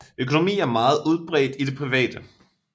Økonomi er meget udbredt i det private